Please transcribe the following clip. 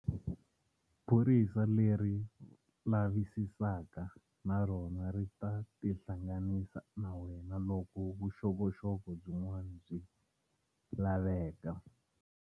Phorisa leri lavisisaka na rona ri ta tihlanganisa na wena loko vuxokoxoko byin'wana byi laveka.